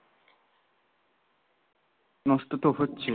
নষ্ট তো হচ্ছে